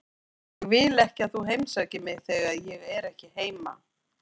Ég vil ekki að þú heimsækir mig þegar ég er ekki heima.